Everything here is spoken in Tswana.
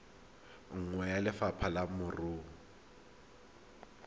nngwe ya lefapha la merero